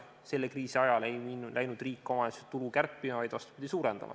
Selle kriisi ajal ei läinud riik omavalitsuste tulu kärpima, vaid, vastupidi, suurendama.